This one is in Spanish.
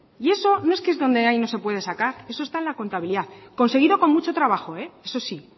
y eso no es que donde hay no se puede sacar eso está en la contabilidad conseguido con mucho trabajo eso sí